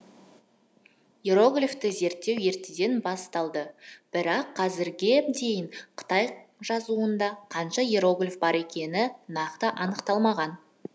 иероглифті зерттеу ертеден басталды бірақ қазірге дейін қытай жазуында қанша иероглиф бар екені нақты анықталмаған